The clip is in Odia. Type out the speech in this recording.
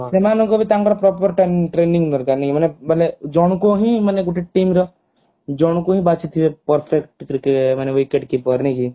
ସେମାନଙ୍କ ବି ତାଙ୍କର proper training training ଦରକାର ନାଇ ମାନେ ଜଣଙ୍କୁ ହି ମାନେ ଗୋଟେ teamର ଜଣଙ୍କୁ ହିଁ ବାଛିଥିବେ perfect ମାନେ wicket keeper ନାଇ କି